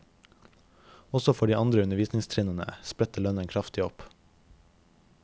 Også for de andre undervisningstrinnene spretter lønnen kraftig opp.